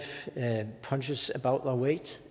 punches above its